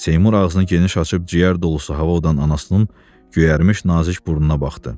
Seymur ağzını geniş açıb ciyər dolusu hava udan anasının göyərmiş nazik burnuna baxdı.